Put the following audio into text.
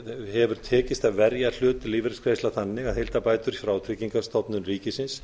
hefur tekist að verja hlut lífeyrisgreiðslna þannig að heildarbætur frá tryggingastofnun ríkisins